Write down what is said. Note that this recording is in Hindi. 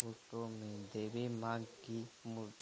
फोटो में देवी मां की मु।